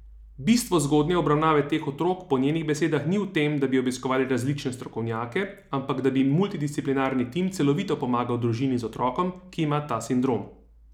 Bistvo zgodnje obravnave teh otrok po njenih besedah ni v tem, da bi obiskovali različne strokovnjake, ampak da bi multidisciplinarni tim celovito pomagal družini z otrokom, ki ima ta sindrom.